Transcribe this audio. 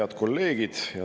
Head kolleegid!